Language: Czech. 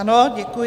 Ano, děkuji.